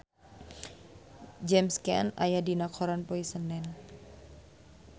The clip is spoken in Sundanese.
James Caan aya dina koran poe Senen